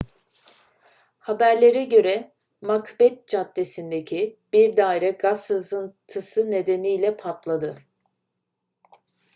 haberlere göre macbeth caddesi'ndeki bir daire gaz sızıntısı nedeniyle patladı